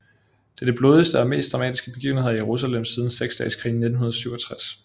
Det er de blodigste og mest dramatiske begivenheder i Jerusalem siden Seksdageskrigen i 1967